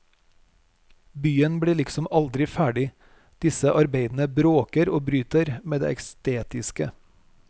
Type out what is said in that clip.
Byen blir liksom aldri ferdig, disse arbeidene bråker og bryter med det estetiske.